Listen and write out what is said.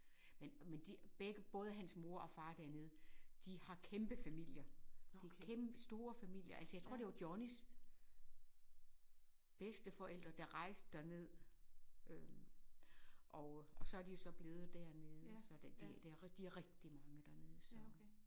Men men de begge både hans mor og hans far dernede de har kæmpefamilier de har kæmpestore familier altså jeg tror det var Johnnys bedsteforældre der rejste derned øh og og så er de jo så blevet dernede så der det det de rigtig mange dernede så